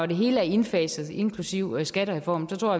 det hele er indfaset inklusive skattereformen tror